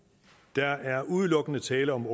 der er udelukkende tale om